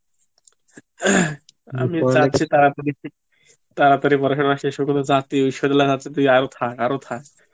আমি চাইছি তাড়াতাড়ি, তাড়াতাড়ি পড়াশুনা শেষ হোক ইশ্বর তুই আরো থাক তুই আরো থাক